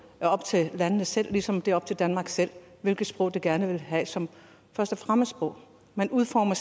er op til landet selv ligesom det er op til danmark selv hvilket sprog det gerne vil have som første fremmedsprog man udformer